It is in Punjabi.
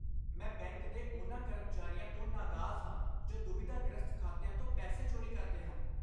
ਮੈਂ ਬੈਂਕ ਦੇ ਉਹਨਾਂ ਕਰਮਚਾਰੀਆਂ ਤੋਂ ਨਗਾਜ਼ ਹਾਂ ਜੋ ਦੁਬਿਧਾ ਗ੍ਰਸਤ ਖਾਤਿਆਂ ਤੋਂ ਪੈਸੇ ਚੋਰੀ ਕਰਦੇ ਹਨ